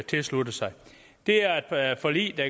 tilsluttet sig det er et forlig der